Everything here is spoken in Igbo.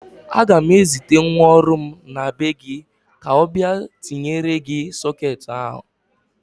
Aga m ezite nwa ọrụ m na be gị ka ọ bịa tinyere gị sọketị ahụ.